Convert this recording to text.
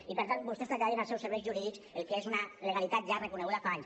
i per tant vostès traslladin als seus serveis jurídics el que és una legalitat ja reconeguda fa anys